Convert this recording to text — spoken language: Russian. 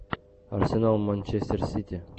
арсенал манчестер сити